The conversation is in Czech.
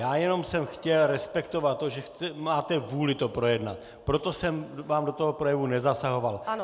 Já jsem jenom chtěl respektovat to, že máte vůli to projednat, proto jsem vám do toho projevu nezasahoval.